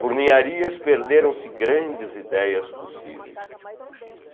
Por Niarias perderam-se grandes ideias possíveis.